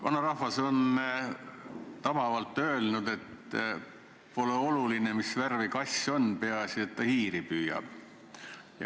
Vanarahvas on tabavalt öelnud, et pole oluline, mis värvi kass on, peaasi, et ta hiiri püüab.